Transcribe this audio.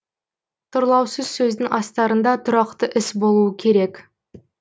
тұрлаусыз сөздің астарында тұрақты іс болуы керек